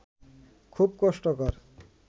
খুব কষ্টকর